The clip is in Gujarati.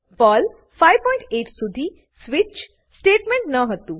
પર્લ 58 સુધી સ્વિચ સ્વીચ સ્ટેટમેંટ ન હતું